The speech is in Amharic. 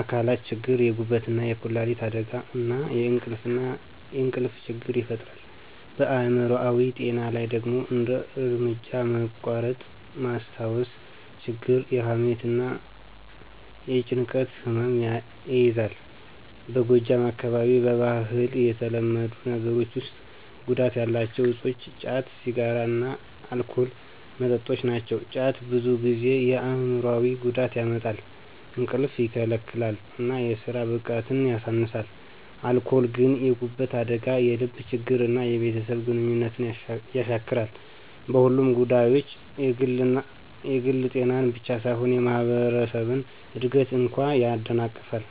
አካላት ችግር፣ የጉበትና የኩላሊት አደጋ፣ እና የእንቅልፍ ችግር ይፈጥራል። በአይምሮአዊ ጤና ላይ ደግሞ እንደ እርምጃ መቋረጥ፣ ማስታወስ ችግር፣ የሐሜት እና የጭንቀት ህመም ይያዛል። በጎጃም አካባቢ በባህል የተለመዱ ነገሮች ውስጥ ጉዳት ያላቸው እፆች ጫት፣ ሲጋራ እና አልኮል መጠጦች ናቸው። ጫት ብዙ ጊዜ የአይምሮአዊ ጉዳት ያመጣል፣ እንቅልፍ ይከለክላል እና የስራ ብቃትን ያሳንሳል። አልኮል ግን የጉበት አደጋ፣ የልብ ችግር እና የቤተሰብ ግንኙነት ያሻክራል። በሁለቱም ጉዳቶች የግል ጤናን ብቻ ሳይሆን የማህበረሰብን እድገት እንኳ ያደናቅፋሉ።